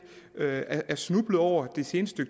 er er snublet over det seneste